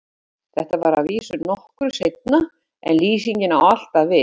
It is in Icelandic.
Þetta var að vísu nokkru seinna en lýsingin á alltaf við.